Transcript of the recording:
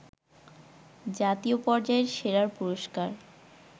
জাতীয় পর্যায়ের সেরার পুরস্কার